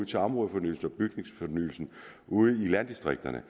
til områdefornyelsen og bygningsfornyelsen ude i landdistrikterne